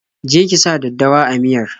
Je ki sa daddawa a miyar!